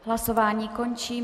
Hlasování končím.